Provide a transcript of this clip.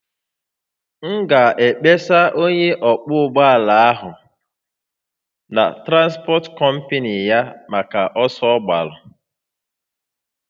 M ga-akpesa onye ọkwọ ụgbọ ala a na transpọt kọmpnị ya maka oke ọsọ ọ gbàrà